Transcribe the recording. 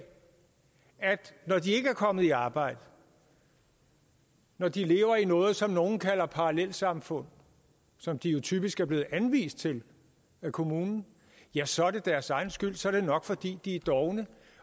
når de ikke er kommet i arbejde og når de lever i noget som nogle kalder parallelsamfund som de jo typisk er blevet anvist til af kommunen ja så er det deres egen skyld så er det nok fordi de er dovne